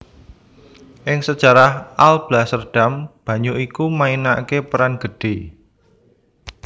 Ing sejarah Alblasserdam banyu iku mainaké peran gedhé